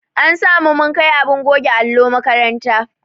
An sa mu mun kai abin goge allo makaranta.